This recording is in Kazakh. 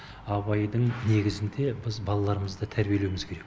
абайдың негізінде біз балаларымызды тәрбиелеуіміз керек